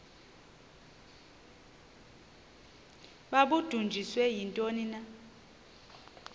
babudunjiswe yintoni na